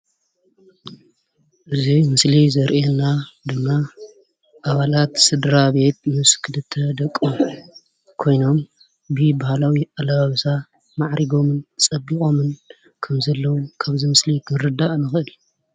እዚ ምስሊ ዘርእየና ድማ ኣበላት ስድራቤት ምስ ክልተ ደቆሙን ኮይኖም ብባህላዊ ኣላብሳ ማዕሪጎምን ፀብቆምን ከምዘለዉ ካብዚ ምስሊ ክንርዳእ ንክእል።